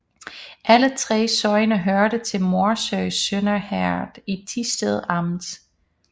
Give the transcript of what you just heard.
Alle 3 sogne hørte til Morsø Sønder Herred i Thisted Amt